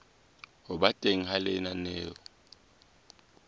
ho ba teng ha lenaneo